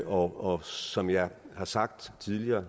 og som jeg har sagt tidligere